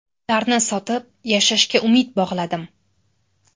Ularni sotib, yashashga umid bog‘ladim.